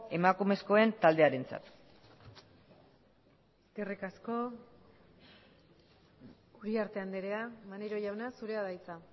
emakumezkoen taldearentzat eskerrik asko uriarte andrea maneiro jauna zurea da hitza